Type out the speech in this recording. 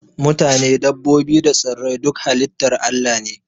Matane, dabbobi da tsirrai duka halitar Allah ne